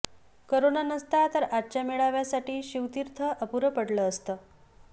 corona नसता तर आजच्या मेळाव्यासाठी शिवतीर्थ अपुरं पडलं असतं